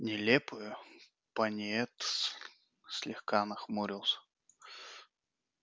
нелепую пониетс слегка нахмурился